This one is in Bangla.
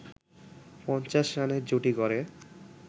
৫০ রানের জুটি গড়ে